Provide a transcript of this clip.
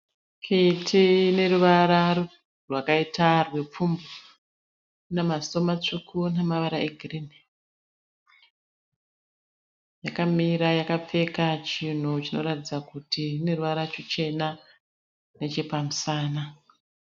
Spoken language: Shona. Kiti ine ruvara rwakaita rwepfumbu. Ine maziso matsvuku nemavara egirinhi. Yakamira yakapfeka chinhu chinoratidza kuti chine ruvara ruchena nechepamusana.